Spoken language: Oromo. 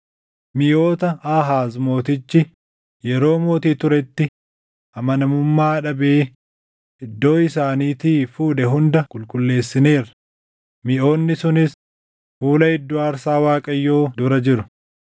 Miʼoota Aahaaz mootichi yeroo mootii turetti amanamummaa dhabee iddoo isaaniitii fuudhe hunda qulqulleessineerra; miʼoonni sunis fuula iddoo aarsaa Waaqayyoo dura jiru.”